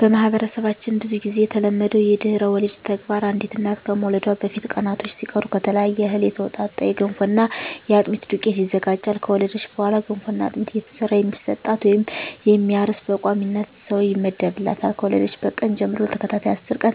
በማህበረሰባችን ብዙ ግዜ የተለመደው የድህረ ወሊድ ተግባር አንዲት እናት ከመውለዷ በፊት ቀናቶች ሲቀሩ ከተለያየ እህል የተውጣጣ የገንፎና የአጥሚት ዱቄት ይዘጋጃል። ከወለደች በኋላ ገንፎና አጥሚት እየሰራ የሚሰጣት ወይም የሚያርስ በቋሚነት ሰው ይመደብላታል፣ ከወለደችበት ቀን ጀም ለተከታታይ አስር ቀን